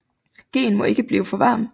Gheen må ikke blive for varm